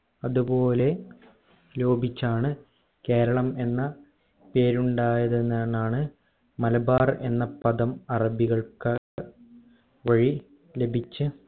അതുപോലെ ലോപിച്ചാണ് കേരളം എന്ന പേരുണ്ടായത് എന്ന് എന്നാണ് മലബാർ എന്ന പദം അറബികൾക്ക വഴി ലഭിച്ച